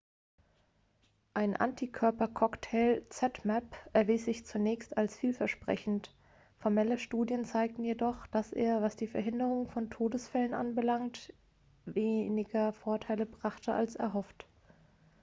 ein antikörper-cocktail zmapp erwies sich zunächst als vielversprechend formelle studien zeigten jedoch dass er was die verhinderung von todesfällen anbelangt weniger vorteile brachte als erhofft